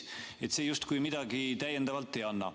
See siis justkui midagi täiendavalt ei anna.